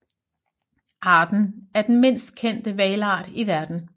Arten er den mindst kendte hvalart i verden